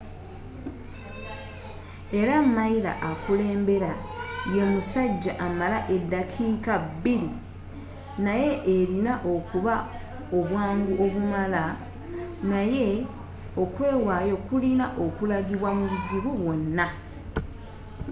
era miler akulembera ye musajja amala eddakiika bbiri naye erina okuba n'obwangu obumala naye okwewaayo kulina okulagibwa mu buzibu bwonna